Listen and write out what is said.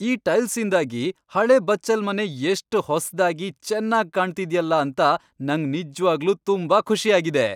ಈ ಟೈಲ್ಸ್ಇಂದಾಗಿ ಹಳೇ ಬಚ್ಚಲ್ಮನೆ ಎಷ್ಟ್ ಹೊಸ್ದಾಗಿ, ಚೆನ್ನಾಗ್ ಕಾಣ್ತಿದ್ಯಲ ಅಂತ ನಂಗ್ ನಿಜ್ವಾಗ್ಲೂ ತುಂಬಾ ಖುಷಿ ಆಗಿದೆ.